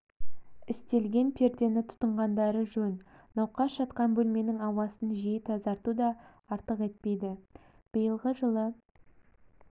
істелген пердені тұтынғандары жөн науқас жатқан бөлменің ауасын жиі тазарту да артық етпейді биылғы жылы